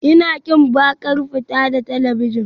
Ina ƙin baƙar fata da talabijin